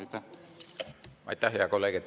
Aitäh, hea kolleeg!